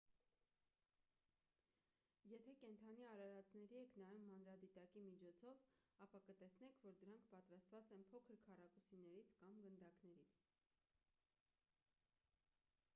եթե կենդանի արարածների եք նայում մանրադիտակի միջոցով ապա կտեսնեք որ դրանք պատրաստված են փոքր քառակուսիներից կամ գնդակներից